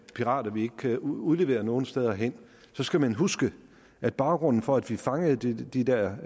pirater vi ikke kan udlevere nogle steder hen så skal man huske at baggrunden for at vi fangede de de der